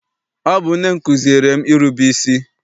Ọ bụ nne m kụziere m irube isi.